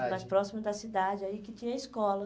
mais próximo da cidade, aí que tinha escola.